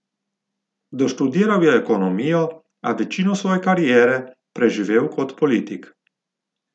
Doštudiral je ekonomijo, a večino svoje kariere preživel kot politik.